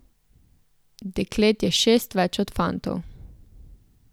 Deklet je šest več od fantov.